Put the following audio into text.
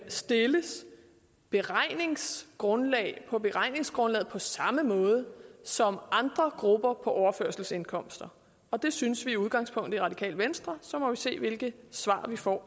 stilles beregningsgrundlag på beregningsgrundlag på samme måde som andre grupper på overførselsindkomster og det synes vi i udgangspunktet i radikale venstre og så må vi se hvilke svar vi får